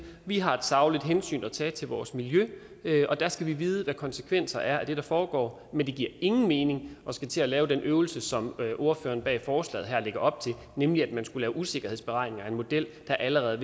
vi har et sagligt hensyn at tage til vores miljø og der skal vi vide hvad konsekvenserne er af det der foregår men det giver ingen mening at skulle til at lave den øvelse som ordførerne bag forslaget her lægger op til nemlig at man skulle lave usikkerhedsberegninger af en model der allerede